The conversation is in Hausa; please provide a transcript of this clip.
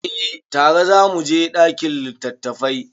Eh tare za mu je ɗakin littattafai.